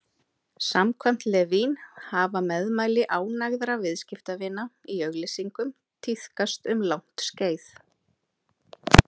Samkvæmt Levine hafa meðmæli ánægðra viðskiptavina í auglýsingum tíðkast um langt skeið.